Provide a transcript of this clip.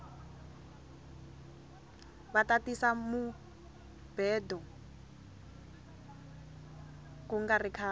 vata tisa mubhedo kungari khale